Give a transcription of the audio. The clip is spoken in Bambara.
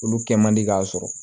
Olu kɛ man di k'a sɔrɔ